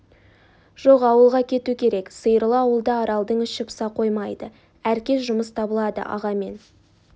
жоқ ауылға кету керек сиырлы ауылда аралдың іші пыса қоймайды әр кез жұмыс табылады аға мен